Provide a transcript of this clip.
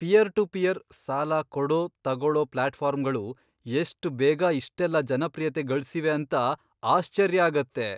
Pear to peer, ಸಾಲ ಕೊಡೋ, ತಗೋಳೋ ಪ್ಲಾಟ್ಫಾರ್ಮ್ಗಳು ಎಷ್ಟ್ ಬೇಗ ಇಷ್ಟೆಲ್ಲ ಜನಪ್ರಿಯತೆ ಗಳ್ಸಿವೆ ಅಂತ ಆಶ್ಚರ್ಯ ಆಗತ್ತೆ.